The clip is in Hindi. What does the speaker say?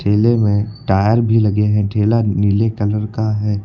ठेले में टायर भी लगे हैं। ठेला नीले कलर का है।